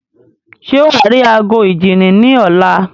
Ṣé wàá rí ago ìjíni ní ọ̀la?